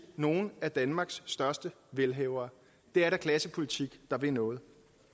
nogle af danmarks største velhavere det er da klassepolitik der vil noget